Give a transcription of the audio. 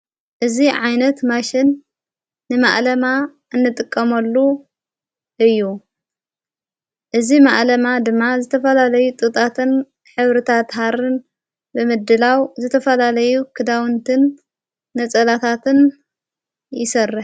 እዝ ዓይነት ማሽን ንማዓለማ እንጥቀመሉ እዩ እዝ መዓለማ ድማ ዘተፈላለዩ ጥጣትን ኅብርታ ተሃርን ብምድላው ዘተፈላለዩ ክዳውንትን ነጸላታትን ይሠርሕ።